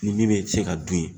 Ni min bɛ se ka dun yen